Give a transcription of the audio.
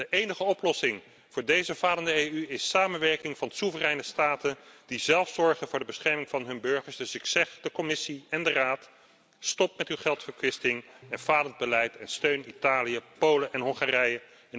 De enige oplossing voor deze falende EU is de samenwerking van soevereine staten die zelf zorgen voor de bescherming van hun burgers. Dus ik zeg tegen de Commissie en de Raad stop met uw geldverkwisting en falend beleid en steun Italië, Polen en Hongarije.